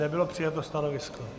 Nebylo přijato stanovisko.